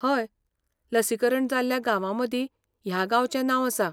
हय, लसीकरण जाल्ल्या गांवामदीं ह्या गांवचें नांव आसा.